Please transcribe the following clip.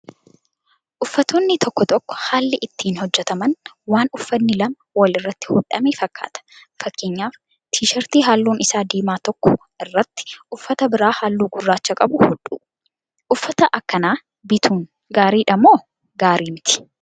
Uffatoonni tokko tokko haalii ittiin hojjataman waan uffanni lama walirratti hodhame fakkaata. Fakkeenyaaf tiishartii halluun isaa diimaa tokko irratti uffata biraa halluu gurraacha qabu hodhuu. Uffata akkanaa bituun gaariidha moo gaarii mitii?